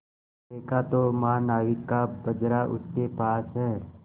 देखा तो महानाविक का बजरा उसके पास है